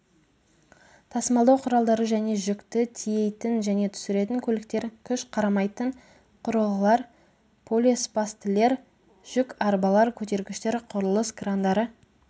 тасымалдау құралдары және жүкті тиейтін және түсіретін көліктер жүк қарамайтын құрылғылар полиспастілер жүкарбалар көтергіштер құрылыс крандары